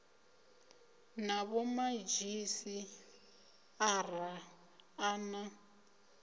na vhomadzhisi ara a na